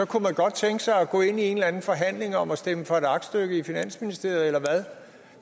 kunne man godt tænke sig at gå ind i en eller anden forhandling om at stemme for et aktstykke i finansministeriet eller hvad